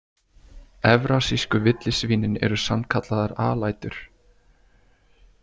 Evrasísku villisvínin eru sannkallaðar alætur.